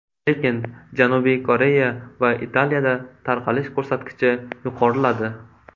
Lekin Janubiy Koreya va Italiyada tarqalish ko‘rsatkichi yuqoriladi.